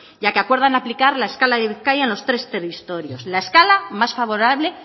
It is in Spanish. ya que acuerdan aplicar la escala de bizkaia en los tres territorios la escala más favorable